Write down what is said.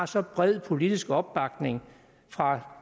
så bred politisk opbakning fra